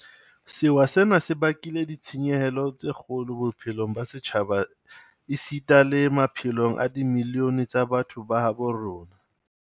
Sewa sena se bakile ditshenyehelo tse kgolo bophelong ba setjhaba esita le maphelong a dimilione tsa batho ba habo rona.